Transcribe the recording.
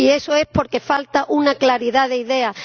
Y eso es porque falta una claridad de ideas.